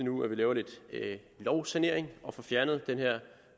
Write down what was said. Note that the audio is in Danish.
nu laver lidt lovsanering og får fjernet den her